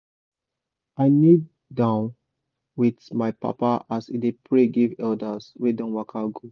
i knee down with my papa as he dey pray give elders wey don waka go.